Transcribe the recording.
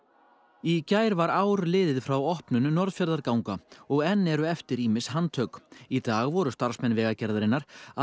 í gær var ár liðið frá opnun Norðfjarðarganga og enn eru eftir ýmis handtök í dag voru starfsmenn Vegagerðarinnar að